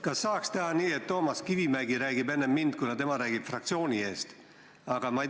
Kas saaks teha nii, et Toomas Kivimägi räägiks enne mind, kuna tema räägib fraktsiooni eest?